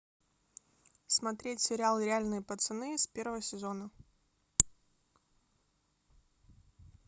смотреть сериал реальные пацаны с первого сезона